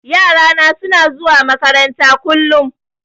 Yarana suna zuwa makaranta kullum.